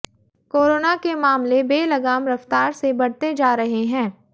corona के मामले बेलगाम रफ्तार से बढ़ते जा रहे है